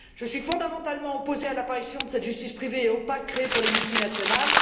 Je suis fondamentalement opposée à l'apparition de cette justice privée et opaque, créée pour les multinationales.